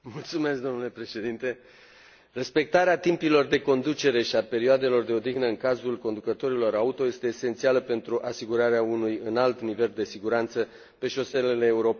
Respectarea timpilor de conducere și a perioadelor de odihnă în cazul conducătorilor auto este esențială pentru asigurarea unui înalt nivel de siguranță pe șoselele europene și pentru protecția pasagerilor.